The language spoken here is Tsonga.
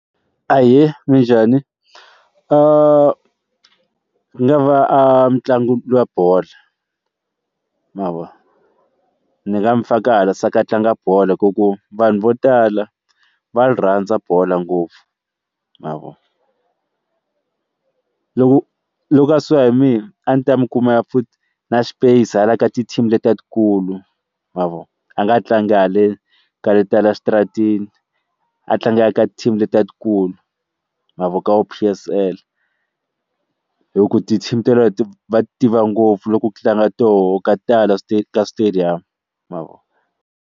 Ahee, minjhani? nga va a mutlangi wa bolo ya ma vo ni nga n'wi faka hala swa ku a tlanga bolo hi ku ku vanhu vo tala va ri rhandza bolo ngopfu ma vo, loko loko a swo ya hi mina a ndzi ta mi kuma ya futhi na space hala ka ti team letikulu ma vi a nga tlangi hale ka leti ta le xitaratini a tlangela ka team letikulu ma vo ka vo P_S_L hi ku tithimi teleto va tiva ngopfu loku ku tlanga toho ka tala ka switedamu ma vo.